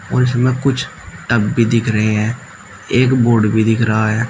और उसमें कुछ टब भी दिख रहे हैं एक बोर्ड भी दिख रहा है।